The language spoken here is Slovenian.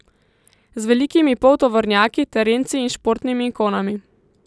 Z velikimi poltovornjaki, terenci in športnimi ikonami.